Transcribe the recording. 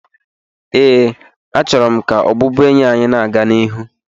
ee, achọrọ m ka ọbụbụenyi anyị na-aga n'ihu